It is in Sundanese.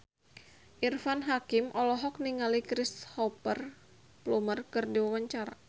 Irfan Hakim olohok ningali Cristhoper Plumer keur diwawancara